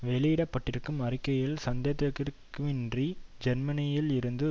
வெளியிடப்பட்டிருக்கும் அறிக்கையில் சந்தேகத்திற்கிடமின்றி ஜெர்மனியில் இருந்து